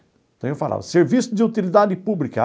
Então eu falava, serviço de utilidade pública.